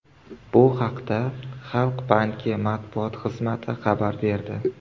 Bu haqda Xalq banki matbuot xizmati xabar berdi .